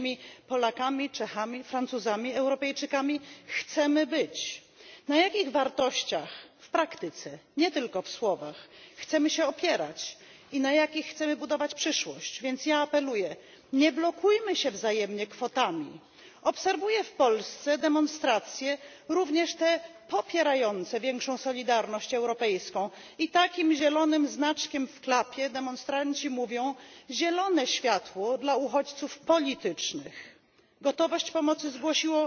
być? Jakimi Polakami, Czechami, Francuzami, Europejczykami chcemy być? Na jakich wartościach w praktyce, nie tylko w słowach chcemy się opierać i na jakich chcemy budować przyszłość? Więc apeluję nie blokujemy się wzajemnie kwotami. Obserwuję w Polsce demonstracje, również te popierające większą solidarność europejską. I takim zielonym znaczkiem w klapie demonstranci mówią zielone światło dla uchodźców politycznych. Gotowość pomocy